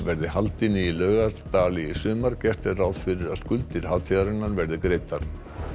verði haldin í Laugardal í sumar gert er ráð fyrir því að skuldir hátíðarinnar verði greiddar